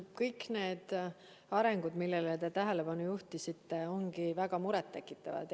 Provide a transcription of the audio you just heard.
Kõik need arengud, millele te tähelepanu juhtisite, ongi väga muret tekitavad.